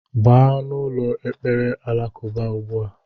Gaba n' ụlọ ekpere alakụba ugbua!!!!